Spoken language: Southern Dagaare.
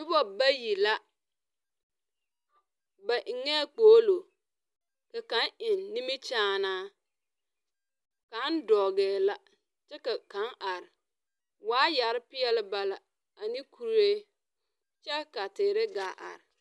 Nuba bayi la ba engɛɛ kpoglo ka kang eng ninmekyããna kanga dɔɛ la kye ka kaãng arẽ waayare peɛle ba la ani kuree kye ka teere gaa arẽ.